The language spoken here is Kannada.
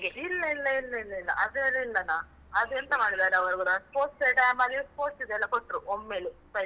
ಇಲ್ಲ ಇಲ್ಲ ಇಲ್ಲ ಇಲ್ಲ ಇಲ್ಲ. ಅದ್ರಲ್ಲಿಲ್ಲನ ಅದೆಂತ ಮಾಡಿದಾರೆ ಅವರೂ ಗೊತ್ತ, sports team ಅಲ್ಲಿ sports ದ್ದೆಲ್ಲ ಕೊಟ್ರು, ಒಮ್ಮೆಲೇ prize ಉ.